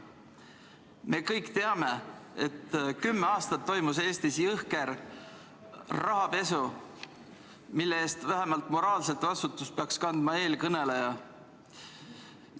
Me kõik teame, et kümme aastat toimus Eestis jõhker rahapesu, mille eest vähemalt moraalset vastutust peaks kandma eelkõneleja.